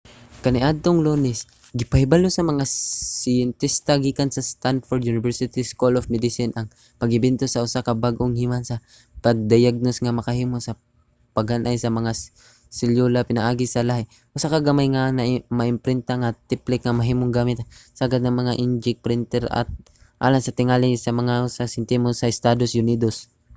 kaniadtong lunes gipahibalo sa mga siyentista gikan sa stanford university school of medicine ang pag-imbento sa usa ka bag-ong himan sa pagdayagnos nga makahimo sa paghan-ay sa mga selyula pinaagi sa lahi: usa ka gamay nga maimprinta nga tipik nga mahimong gamit ang sagad nga mga inkjet printer alang sa tingali mga usa ka sentimo sa estados unidos